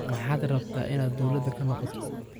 Maxad rabta inad dowlada kanoqoto.